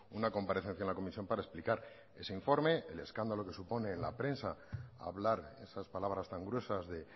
una comparecencia en la comisión para explicar ese informe el escándalo que supone la prensa hablar esas palabras tan gruesas de